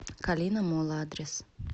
калина молл адрес